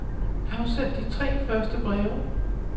Afsend de tre første breve.